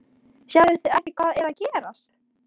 Sjáið þið ekki hvað er að gerast!